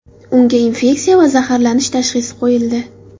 Unga infeksiya va zaharlanish tashxisi qo‘yildi.